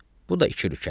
Bu da iki rükətdir.